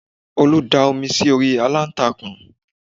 Olú da omi sí orí aláǹtakùn